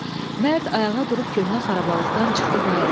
Mərd ayağa durub köhnə xarabalıqdan çıxdı bayıra.